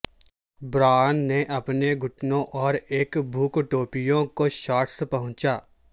Brian نے اپنے گھٹنوں اور ایک بھوک ٹوپیوں کو شارٹس پہنچا